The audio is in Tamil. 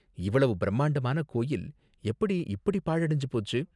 இவ்வளவு பிரம்மாண்டமான கோயில் எப்படி இப்படி பாழடைஞ்சு போச்சு?